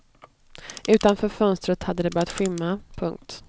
Utanför fönstret hade det börjat skymma. punkt